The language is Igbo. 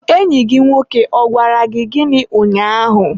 enyi gị nwoke ọ gwara gị gịnị ụnyaahụ?